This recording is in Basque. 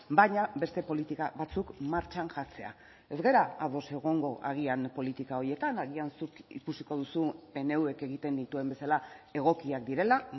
baina beste politika batzuk martxan jartzea ez gara ados egongo agian politika horietan agian zuk ikusiko duzu pnvk egiten dituen bezala egokiak direla